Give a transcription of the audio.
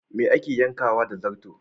Me ake yankawa da zarto?